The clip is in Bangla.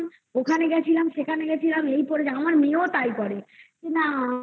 গেছিলাম, ওখানে গেছিলাম, সেখানে গেছিলাম, এই করেছে, আমার মেয়েও তাই করে. যে না